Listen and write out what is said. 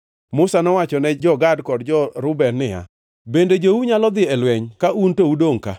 Musa nowacho ne jo-Gad kod jo-Reuben niya, “Bende jou nyalo dhi e lweny ka un to udongʼ ka?